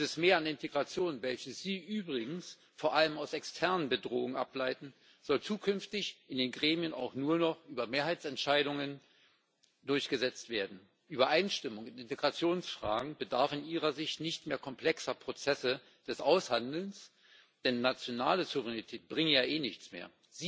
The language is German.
Dieses Mehr an Integration, welches Sie übrigens vor allem aus externen Bedrohungen ableiten, soll zukünftig in den Gremien auch nur noch über Mehrheitsentscheidungen durchgesetzt werden. Übereinstimmung in Integrationsfragen bedarf in Ihrer Sicht nicht mehr komplexer Prozesse des Aushandelns, denn nationale Souveränität bringe ja eh nichts mehr.